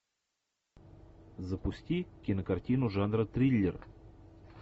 запусти кинокартину жанра триллер